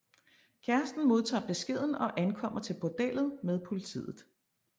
Kæresten modtager beskeden og ankommer til bordellet med politiet